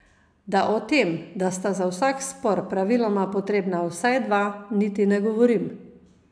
Da o tem, da sta za vsak spor praviloma potrebna vsaj dva, niti ne govorim.